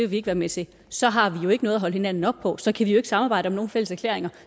vi ikke være med til så har vi jo ikke noget at holde hinanden op på og så kan vi jo ikke samarbejde om nogen fælles erklæringer